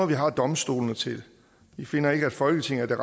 vi har domstolene til vi finder ikke at folketinget er